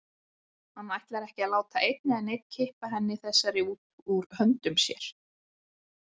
Hann ætlar ekki að láta einn eða neinn kippa henni þessari út úr höndum sér.